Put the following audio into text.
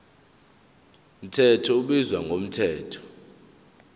mthetho ubizwa ngomthetho